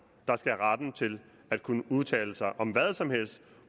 der skal have retten til at kunne udtale sig om hvad som helst